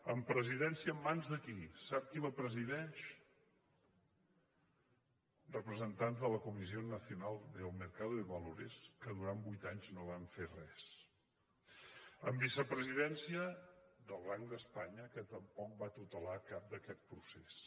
amb la presidència en mans de qui sap qui la presideix representants de la comisión nacional del mercado de valores que durant vuit anys no van fer res amb vicepresidència del banc d’espanya que tampoc va tutelar cap d’aquests processos